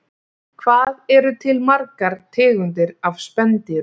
Hvað eru til margar tegundir af spendýrum?